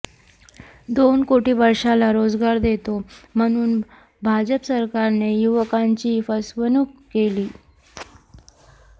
दोन कोटी वर्षाला रोजगार देतो म्हणून भाजप सरकारने युवकांची फसवणूक केली